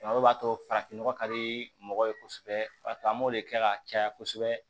O b'a to farafin nɔgɔ ka di mɔgɔ ye kosɛbɛ an b'o de kɛ ka caya kosɛbɛ